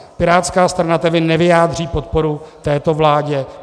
Pirátská strana tedy nevyjádří podporu této vládě.